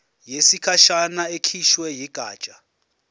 yesikhashana ekhishwe yigatsha